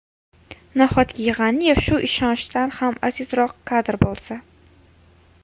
Nahotki G‘aniyev shu ishonchdan ham azizroq kadr bo‘lsa?